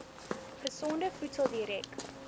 gesonde voedsel direk